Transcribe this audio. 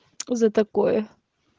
за такое